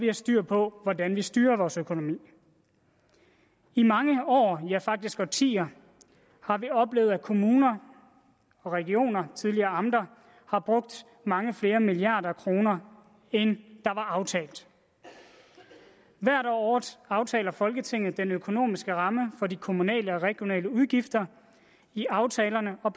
har styr på hvordan vi styrer vores økonomi i mange år ja faktisk i årtier har vi oplevet at kommuner og regioner tidligere amter har brugt mange flere milliarder kroner end aftalt hvert år aftaler folketinget den økonomiske ramme for de kommunale og regionale udgifter i aftalerne og